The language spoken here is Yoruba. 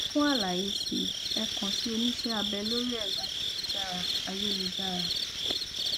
fún àlàyé si ẹ kàn sí oníṣẹ abẹ lórí ẹrọ ayélujára ayélujára